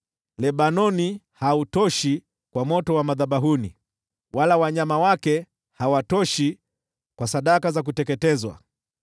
Lebanoni hautoshi kwa moto wa madhabahuni, wala wanyama wake hawatoshi kwa sadaka za kuteketezwa.